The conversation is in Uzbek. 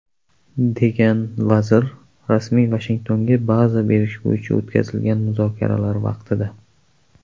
degan vazir rasmiy Vashingtonga baza berish bo‘yicha o‘tkazilgan muzokaralar vaqtida.